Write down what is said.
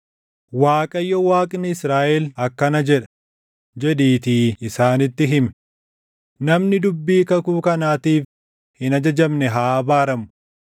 Waaqayyo Waaqni Israaʼel akkana jedha, jedhiitii isaanitti himi; ‘Namni dubbii kakuu kanaatiif hin ajajamne haa abaaramu.